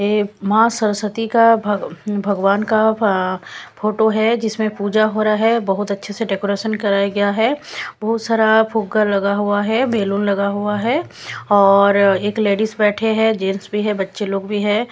ये माँ सरस्वती का भग--भगवान का फ--फोटो है जिसमें पूजा हो रहा है बहुत अच्छे से डेकोरेशन कराया गया है बहुत सारा फूगा लगा हुआ है बैलून लगा हुआ है और एक लेडीज बैठे हैं जेन्स भी है बच्चे लोग भी हैं।